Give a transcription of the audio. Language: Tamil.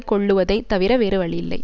கொள்ளுவதைத் தவிர வேறு வழியில்லை